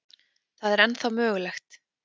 Það er ennþá mögulegt.